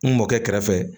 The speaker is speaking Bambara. N mɔkɛ kɛrɛfɛ